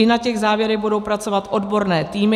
I na těch závěrech budou pracovat odborné týmy.